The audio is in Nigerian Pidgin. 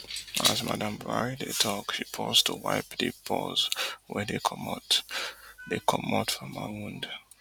as madam buhari dey tok she pause to wipe di pores wey dey comot dey comot from her wound